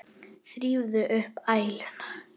Þrífðu upp æluna.